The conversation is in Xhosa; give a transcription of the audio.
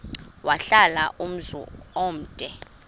wahlala umzum omde